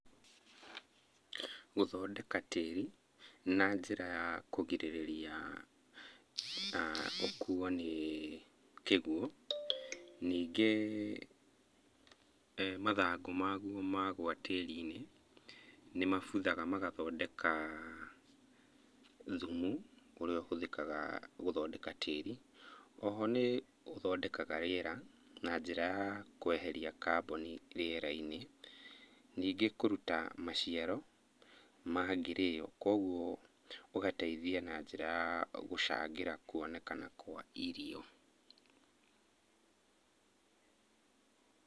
Gũthondeka tĩĩri na njĩra ya kũgĩrĩrĩria ũkuuo nĩ kĩguũ. Ningĩ mathangũ maguo magwa tĩĩrinĩ, nĩmabuthaga magathondeka thumu ũrĩa ũhũthikaga gũthondeka tĩĩri. O ho nĩ ũthondekaga rĩera na njĩra ya kweheria kaboni rĩerainĩ. Níingĩ kũruta maciaro mangĩrĩyo kũoguo ũgateithia na njĩra ya gucangĩra kuonekana kwa irio.